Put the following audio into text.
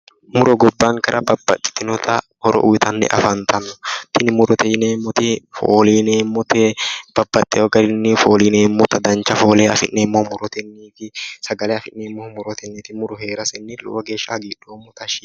Muro gobbankera babbaxxitino horo uytanni afantanno tini murote yineemmoti fooliineemmote babbaxxeewo garinni fooliineemmota dancha foole afi'neeemmohu murotenni sagale afi'neemmohu murotenniti muro hee'rasenni lowo geeshsha hagiidhoommo tashshi yiinoe